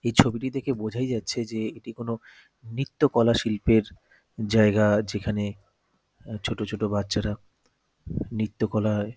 এই ছবিটি দেখে বোঝাই যাচ্ছে যে এটি কোন নৃত্যকলা শিল্পের জায়গা যেখানে ছোট ছোট বাচ্চারা নৃত্যকলায়--